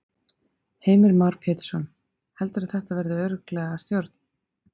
Heimir Már Pétursson: Heldurðu að þetta verði örugglega að stjórn?